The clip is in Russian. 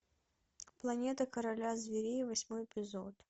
планета короля зверей восьмой эпизод